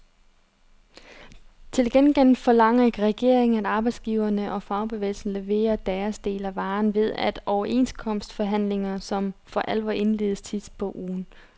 Til gengæld forlanger regeringen, at arbejdsgiverne og fagbevægelsen leverer deres del af varen ved de overenskomstforhandlinger, som for alvor indledes sidst på ugen.